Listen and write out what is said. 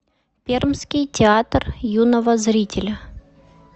пермский театр юного зрителя